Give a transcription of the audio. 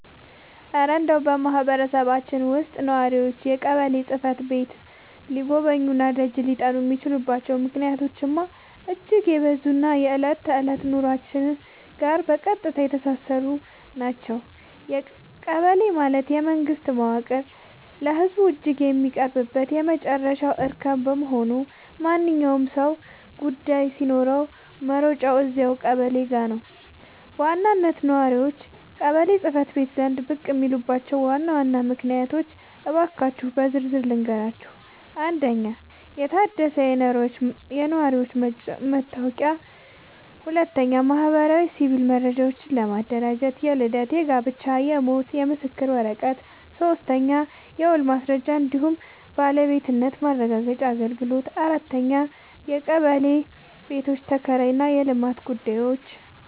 እረ እንደው በማህበረሰባችን ውስጥ ነዋሪዎች ቀበሌ ጽሕፈት ቤትን ሊጎበኙና ደጅ ሊጠኑ የሚችሉባቸው ምክንያቶችማ እጅግ የበዙና ከዕለት ተዕለት ኑሯችን ጋር በቀጥታ የተሳሰሩ ናቸው! ቀበሌ ማለት የመንግስት መዋቅር ለህዝቡ እጅግ የሚቀርብበት የመጨረሻው እርከን በመሆኑ፣ ማንኛውም ሰው ጉዳይ ሲኖረው መሮጫው እዚያው ቀበሌው ጋ ነው። በዋናነት ነዋሪዎች ቀበሌ ጽ/ቤት ዘንድ ብቅ የሚሉባቸውን ዋና ዋና ምክንያቶች እንካችሁ በዝርዝር ልንገራችሁ፦ 1. የታደሰ የነዋሪነት መታወቂያ ለማግኘትና ለማደስ 2. ማህበራዊና ሲቪል መረጃዎችን ለማደራጀት (የልደት፣ የጋብቻና የሞት ምስክር ወረቀት) 3. የውልና ማስረጃ እንዲሁም የባለቤትነት ማረጋገጫ አገልግሎቶች 4. የቀበሌ ቤቶች ኪራይና የልማት ጉዳዮች